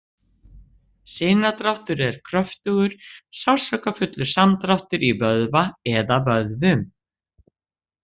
Sinadráttur er kröftugur, sársaukafullur samdráttur í vöðva eða vöðvum.